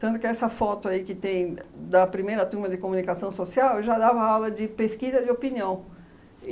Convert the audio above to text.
Tanto que essa foto aí que tem da primeira turma de comunicação social eu já dava aula de pesquisa de opinião.